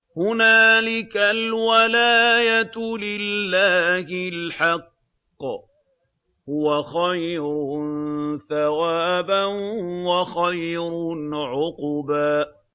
هُنَالِكَ الْوَلَايَةُ لِلَّهِ الْحَقِّ ۚ هُوَ خَيْرٌ ثَوَابًا وَخَيْرٌ عُقْبًا